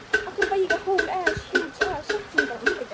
Lára Ómarsdóttir: Hvernig sjáum við þess merki?